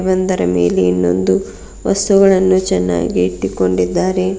ಒಂದರ ಮೇಲೆ ಇನ್ನೊಂದು ವಸ್ತುಗಳನ್ನು ಚೆನ್ನಾಗಿ ಇಟ್ಟಿಕೊಂಡಿದ್ದಾರೆ.